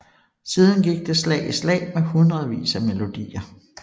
Siden gik det slag i slag med hundredvis af melodier